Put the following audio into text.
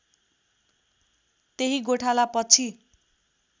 त्यही गोठाला पछि